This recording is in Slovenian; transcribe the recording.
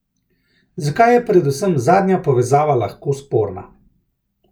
Zakaj je predvsem zadnja povezava lahko sporna?